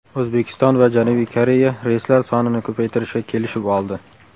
O‘zbekiston va Janubiy Koreya reyslar sonini ko‘paytirishga kelishib oldi.